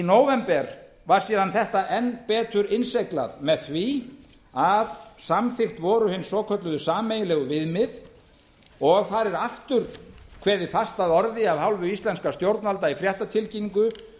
nóvember var þetta síðan enn betur innsiglað með því að samþykkt voru hin svokölluðu sameiginlegu viðmið og þar er aftur kveðið fast að orði af hálfu íslenskra stjórnvalda